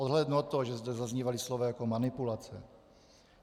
Odhlédnu od toho, že zde zaznívala slova jako manipulace.